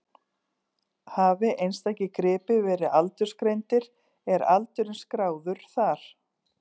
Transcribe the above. Hafi einstakir gripir verið aldursgreindir er aldurinn skráður þar.